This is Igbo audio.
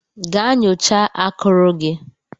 Gaa nyocha akuru gị!